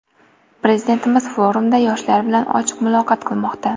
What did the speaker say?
Prezidentimiz forumda yoshlar bilan ochiq muloqot qilmoqda.